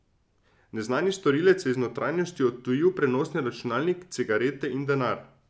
Neznani storilec je iz notranjosti odtujil prenosni računalnik, cigarete in denar.